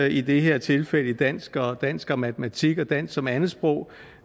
i det her tilfælde i dansk og dansk og matematik og dansk som andetsprog